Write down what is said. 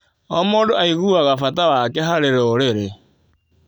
O mũndũ aiguaga bata wake harĩ rũrĩrĩ.